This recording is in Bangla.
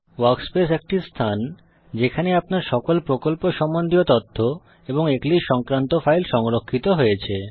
ওয়ার্কস্পেস একটি স্থান যেখানে আপনার সকল প্রকল্প সম্বন্ধীয় তথ্য এবং এক্লিপসে সংক্রান্ত ফাইল সংরক্ষিত হয়েছে